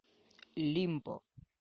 лимбо